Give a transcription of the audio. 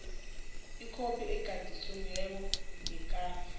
ikhophi egadangisiweko yekhasi